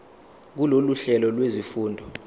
kulolu hlelo lwezifundo